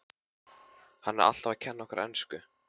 Hann er alltaf að kenna okkur ensku!